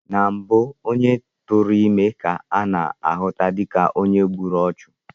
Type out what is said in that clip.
Na mbụ onye tere ime ka a na-ahụta dịka onye gburu ọchụ